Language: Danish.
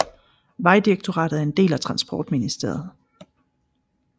Vejdirektoratet er en del af Transportministeriet